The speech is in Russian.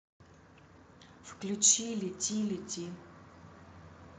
включи лети лети